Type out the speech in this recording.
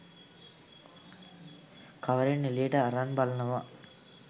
කවරෙන් එළියට අරන් බලනව